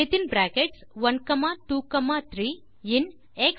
1 2 3 இன் xvalues